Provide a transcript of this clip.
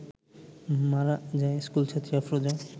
মারা যায় স্কুলছাত্রী আফরোজা